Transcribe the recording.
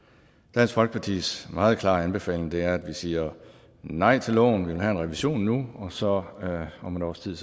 dansk folkepartis meget klare anbefaling er at vi siger nej til loven vil have en revision nu og så om et års tid